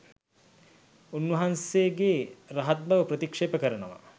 උන්වහන්සේගේ රහත් බව ප්‍රතික්ෂේප කරනවා